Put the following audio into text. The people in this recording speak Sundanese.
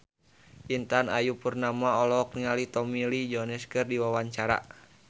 Intan Ayu Purnama olohok ningali Tommy Lee Jones keur diwawancara